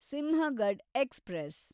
Sinhagad express